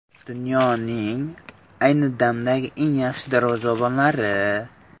Dunyoning ayni damdagi eng yaxshi darvozabonlari.